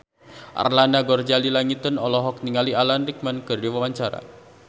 Arlanda Ghazali Langitan olohok ningali Alan Rickman keur diwawancara